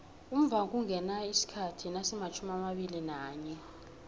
umvhangoungena isikhathi nasimatjhumiamabili nanye